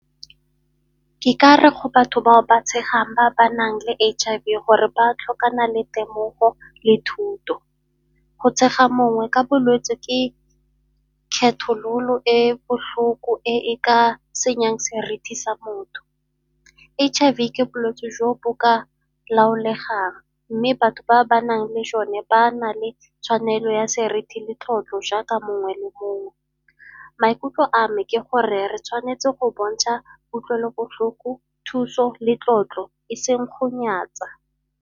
Ke ka re go batho bao ba tshegang bao ba ba nang le H_I_V gore ba tlhokana le temogo le thuto. Go tshega mongwe ka bolwetsi ke kgethololo e botlhoko e e ka senyang seriti sa motho. H_I_V ke bolwetsi jo bo ka laolegang, mme batho ba ba nang le jone ba na le tshwanelo ya seriti le tlotlo jaaka mongwe le mongwe. Maikutlo a me ke gore re tshwanetse go bontsha kutlwelobotlhoko thuso le tlotlo e seng go nyatsa.